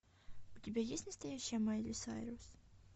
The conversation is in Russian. у тебя есть настоящая майли сайрус